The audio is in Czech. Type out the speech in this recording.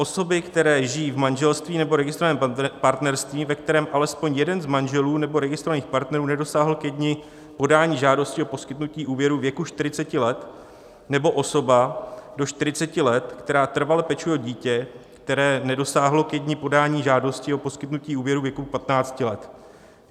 Osoby, které žijí v manželství nebo registrovaném partnerství, ve kterém alespoň jeden z manželů nebo registrovaných partnerů nedosáhl ke dni podání žádosti o poskytnutí úvěru věku 40 let, nebo osoba do 40 let, která trvale pečuje o dítě, které nedosáhlo ke dni podání žádosti o poskytnutí úvěru věku 15 let.